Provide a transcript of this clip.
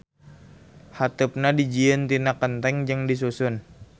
Hateupna dijieun tina kenteng jeung disusun.